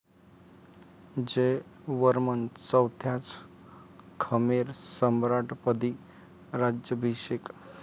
जयवर्मन चौथ्याच खमेर सम्राटपदी राज्याभिषेक.